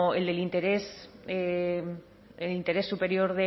el del interés superior